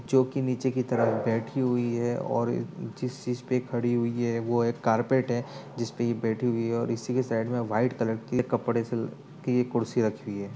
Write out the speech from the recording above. जोकि नीचे की तरफ बैठी हुई है और जिस चीज़ पे खड़ी हुई है वो एक कारपेट है जिसपे ये बैठी हुई है और इसी के साइड में वाइट कलर के कपड़े से की कुर्सी रखी हुई है।